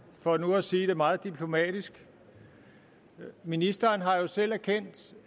for nu at sige det meget diplomatisk ministeren har jo selv erkendt